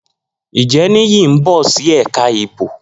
Njẹ Niyi n bọ si ẹka ibo?